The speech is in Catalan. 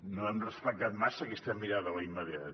no hem respectat massa aquesta mirada a l’immediat